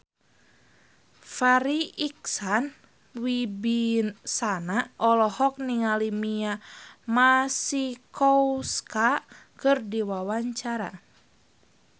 Farri Icksan Wibisana olohok ningali Mia Masikowska keur diwawancara